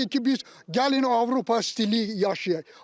Deyirik ki, biz gəlin Avropa stili yaşayaq.